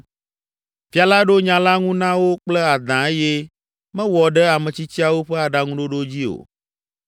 Fia la ɖo nya la ŋu na wo kple adã eye mewɔ ɖe ametsitsiawo ƒe aɖaŋuɖoɖo dzi o.